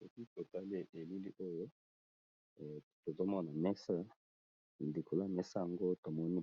Na bilili oyo tozali komona, ezali bongo mesa, likolo ya mesa tomoni